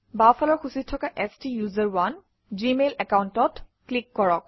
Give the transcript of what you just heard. বাওঁফালৰ সূচীত থকা ষ্টাচাৰণে জিমেইল একাউণ্টত ক্লিক কৰক